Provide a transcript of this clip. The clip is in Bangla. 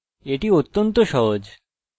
এটি অত্যন্ত সহজ